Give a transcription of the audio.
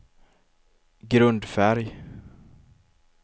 grundfärg